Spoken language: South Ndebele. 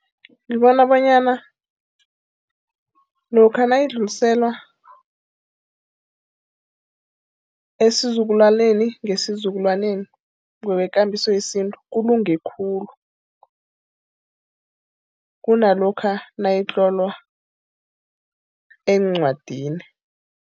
Ngibona bonyana lokha nayidluliselwa esizukulwaneni ngesizukulwana ngokwekambiso yesintu, kulunge khulu kunalokha nayitlolwa encwadini.